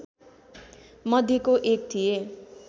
मध्येको एक थिए